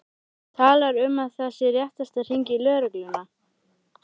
Talar um að það sé réttast að hringja í lögregluna.